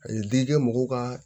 A ye digi kɛ mɔgɔw ka